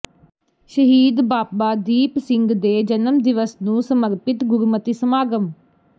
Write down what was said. ਸ਼ਹੀਦ ਬਾਬਾ ਦੀਪ ਸਿੰਘ ਦੇ ਜਨਮ ਦਿਵਸ ਨੂੰ ਸਮਰਪਿਤ ਗੁਰਮਤਿ ਸਮਾਗਮ